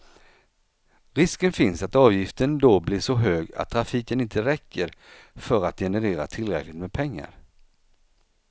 Risken finns att avgiften då blir så hög att trafiken inte räcker för att generera tillräckligt med pengar.